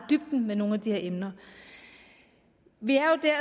dybden med nogle af de her emner vi